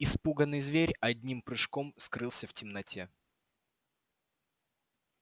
испуганный зверь одним прыжком скрылся в темноте